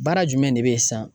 Baara jumɛn de bɛ ye sisan